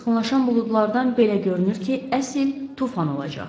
Yaxınlaşan buludlardan belə görünür ki, əsl tufan olacaq.